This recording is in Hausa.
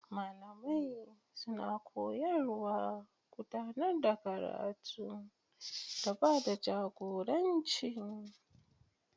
Malamai suna koyarwa, gudanar da karatu, da ba da jagoranci.